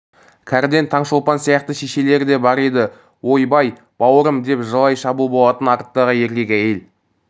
кәріден таңшолпан сияқты шешелер де бар еді ой-бай баурым деп жылай шабу болатын арттағы еркек әйел